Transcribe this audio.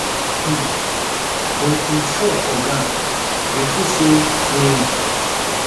um but im fall for ground referee say play on